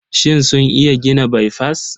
Shin sun iya gina baifas?